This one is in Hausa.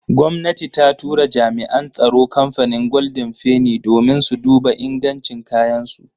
Gomnati ta tura jami'an tsaro kamfanin golden feni domin su duba ingancin kayan su.